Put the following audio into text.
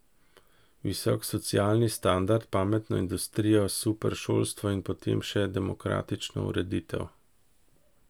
Visok socialni standard, pametno industrijo, super šolstvo in potem še demokratično ureditev.